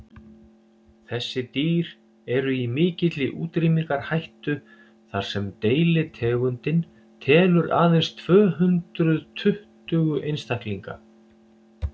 þessi dýr eru í mikilli útrýmingarhættu þar sem deilitegundin telur aðeins tvö hundruð tuttugu einstaklinga